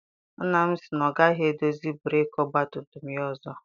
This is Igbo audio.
Nna m sị na ọ gaghị edozi breeki ọgbatumtum ya ọzọ.